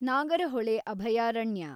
ನಾಗರಹೊಳೆ ಅಭಯಾರಣ್ಯ